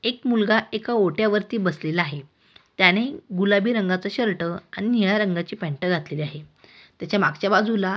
एक मुलगा एका ओट्यावरती बसलेला आहे. त्याने गुलाबी रंगाचा शर्ट आणि निळ्या रंगाची पॅंट घातलेली आहे. त्याच्या मागच्या बाजूला--